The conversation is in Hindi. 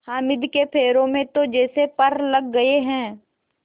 हामिद के पैरों में तो जैसे पर लग गए हैं